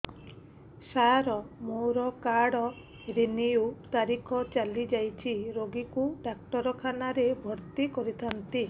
ସାର ମୋର card renew ତାରିଖ ଚାଲି ଯାଇଛି ରୋଗୀକୁ ଡାକ୍ତରଖାନା ରେ ଭର୍ତି କରିଥାନ୍ତି